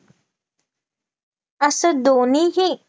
असं दोन्हीही